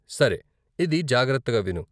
సరే, ఇది జాగ్రత్తగా విను!